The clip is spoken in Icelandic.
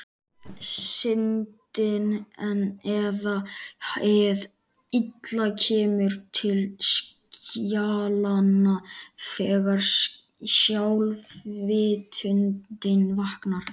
Syndin eða hið illa kemur til skjalanna þegar sjálfsvitundin vaknar.